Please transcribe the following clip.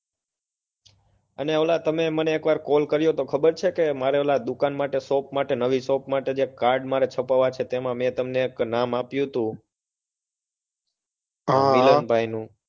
અને ઓલા તમે મને પહેલા મને કૉલ કર્યો હતો તમને ખબર છે કે મારે પહેલી દુકાન માટે shop માટે નવી shop માટે જે card છપાવવા છે મેં તમને એક નામ આપ્યું હતું હમ મિલનભાઈનું